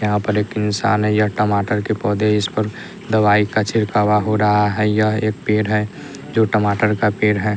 यहाँ पर एक इंसान है यह टमाटर के पौधे इस पर दवाई का छिरकावा हो रहा है यह एक पेड़ है जो टमाटर का पेड़ है।